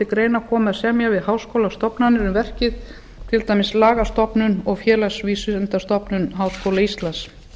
greina komi að semja við háskólastofnanir um verkið til dæmis lagastofnun og félagsvísindastofnun háskóla íslands